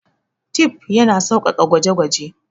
Tif yana sauƙaƙa gwaje-gwaje.